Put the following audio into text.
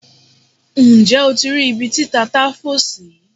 Nje o ti ri ibi ti tata fo si?